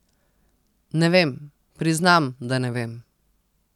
Ne vem, priznam, da ne vem ...